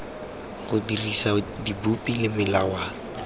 go dirisa dipopi le melawana